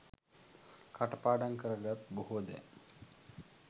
කටපාඩම් කර ගත් බොහෝ දැ